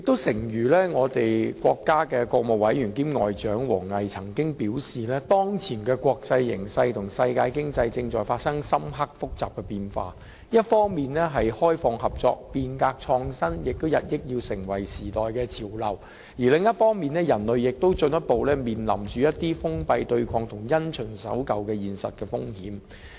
誠如國家國務委員兼外交部部長王毅曾經表示，當前的國際形勢和世界經濟正在發生深刻複雜的變化，一方面，開放合作、變革創新日益成為時代的潮流，另一方面，人類進步亦面臨封閉對抗和因循守舊的現實風險。